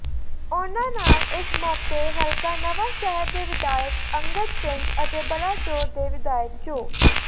ਉਨ੍ਹਾਂ ਨਾਲ ਇਸ ਮੌਕੇ ਹਲਕਾ ਨਵਾਂਸ਼ਹਿਰ ਦੇ ਵਿਧਾਇਕ ਅੰਗਦ ਸਿੰਘ ਅਤੇ ਬਲਾਚੌਰ ਦੇ ਵਿਧਾਇਕ ਚੌ